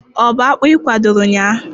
Ọ bu akpụ ikwadoro ụnyaahụ?